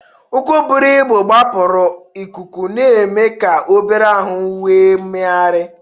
Ụkwụ buru ibu gbapụrụ ikuku, na-eme ka obere ahụ nwee mmegharị.